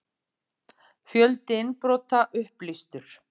Fjöldi innbrota upplýstur